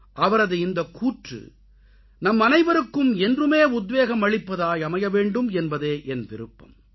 அவரது இந்தக்கூற்று நம்மனைவருக்கும் என்றுமே உத்வேகம் அளிப்பதாய் அமைய வேண்டும் என்பதே என் விருப்பம்